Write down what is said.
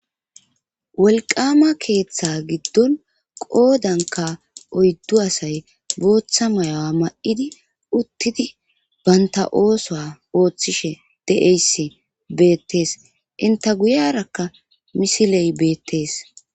wolqama keeththa giddon qoodanka oyddu asay booththa mayoa ma7idi uttidi banta ooso ooththishe de7eysi beettees inta guyarakka misiley beettees